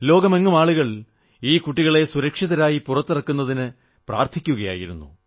ലോകമെങ്ങും ആളുകൾ ഈ കുട്ടികളെ സുരക്ഷിതരായി പുറത്തിറക്കുന്നതിനായി പ്രാർത്ഥിക്കുകയായിരുന്നു